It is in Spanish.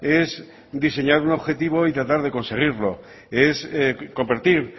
es diseñar un objetivo y tratar de conseguirlo es convertir